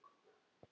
Og svo var hlegið.